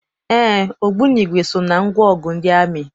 Éé, ogbunigwe so na ngwaọgụ ndị amị.